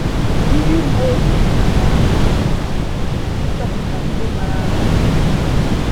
Ndị uwe ojii ka na ama imi n'ala ịchọpụta ndị kpara arụ a.